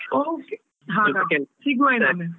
Okay ಸಿಗುವ .